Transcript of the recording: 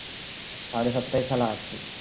সাড়ে সাতটায় খেলা আছে